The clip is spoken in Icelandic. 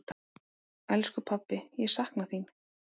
Elsku pabbi, ég sakna þín.